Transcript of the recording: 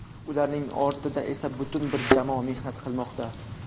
Ularning ortida esa butun bir jamoa mehnat qilmoqda.